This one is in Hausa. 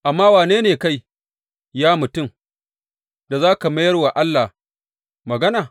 Amma wane ne kai, ya mutum, da za ka mayar wa Allah magana?